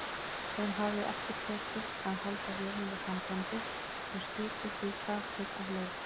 Þeim hafði ekki tekist að halda vélinni gangandi og skipið því hrakið af leið.